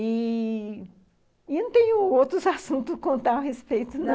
E eu não tenho outros assuntos a contar a respeito, não.